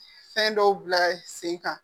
Fɛn dɔw bila sen kan